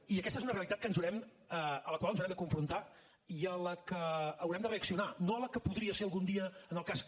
i aquesta és una realitat amb la qual ens haurem de confrontar i a què haurem de reaccionar no a la que podria ser algun dia en el cas que